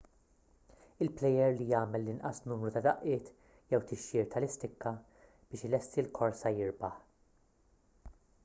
il-plejer li jagħmel l-inqas numru ta' daqqiet jew tixjir tal-istikka biex ilesti l-korsa jirbaħ